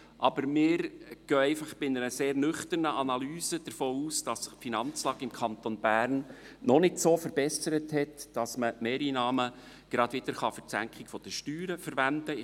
Aber wir gehen einfach bei einer sehr nüchternen Analyse davon aus, dass sich die Finanzlage im Kanton Bern noch nicht so verbessert hat, dass man Mehreinnahmen gerade wieder für die Senkung der Steuern verwenden kann.